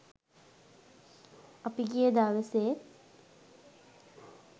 අපි ගිය දවසෙත්